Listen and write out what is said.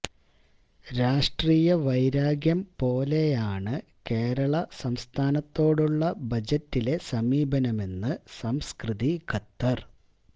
രാഷ്ട്രീയ വൈരാഗ്യം പോലെയാണു കേരള സംസ്ഥാനത്തോടുള്ള ബജറ്റിലെ സമീപനമെന്ന് സംസ്കൃതി ഖത്തർ